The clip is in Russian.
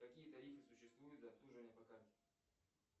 какие тарифы существуют за обслуживание по карте